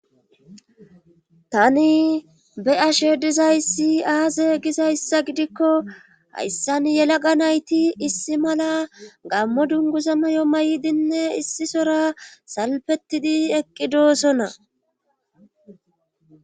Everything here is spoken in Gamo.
tani be ashe dizayssi aaze gizayssa gidikko hayssan yelaqa nayti issi mala gammo dunguza mayo may7dinne issisora salfetidi eqqi doosona